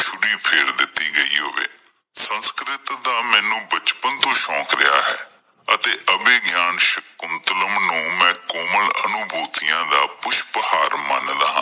ਫੇਰ ਦਿੱਤੀ ਗਈ ਹੋਵੇ ਸੰਸਕ੍ਰਿਤ ਦਾ ਮੈਨੂੰ ਬਚਪਣ ਤੋਂ ਹੀ ਸ਼ੌਂਕ ਰਿਹਾ ਹੈ ਤੇ ਅਭੈ ਗਈਆਂ ਸ਼ਕੁਂਤਲਮ ਨੂੰ ਮੈਂ ਕੋਮਲ ਅਨੁਭੂਤੀਆਂ ਦਾ ਪੁਸ਼ਪ ਅਹਾਰ ਮਨ ਲਾਂ